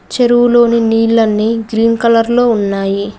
చెరువులోని నీళ్లన్నీ green colour లో ఉన్నాయి.